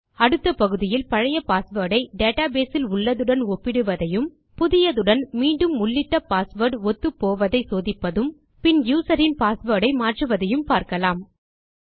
அடுத்த பகுதியில் பழைய பாஸ்வேர்ட் ஐ டேட்டாபேஸ் இல் உள்ளதுடன் ஒப்பிடுவதையும் புதியதுடன் மீண்டும் உள்ளிட்ட பாஸ்வேர்ட் ஒத்து போவதை சோதிப்பதும் பின் யூசர்ஸ் பாஸ்வேர்ட் ஐ மாற்றுவதையும் பார்க்கலாம்